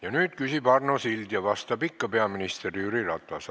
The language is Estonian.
Ja nüüd küsib Arno Sild ja vastab ikka peaminister Jüri Ratas.